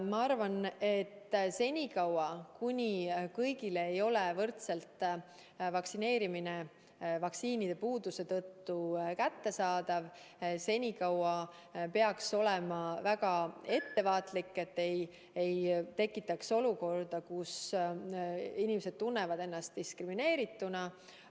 Ma arvan, et senikaua, kuni vaktsineerimine ei ole vaktsiinide puuduse tõttu kõigile võrdselt kättesaadav, peaks olema väga ettevaatlik, et ei tekiks olukorda, kus inimesed tunnevad ennast diskrimineerituna.